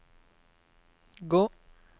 gå